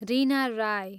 Reena Rai